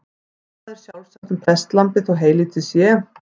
Það er sjálfsagt um prestlambið þó heylítið sé.